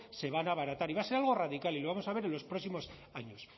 se van a abaratar y va a ser algo radical y lo vamos a ver en los próximos años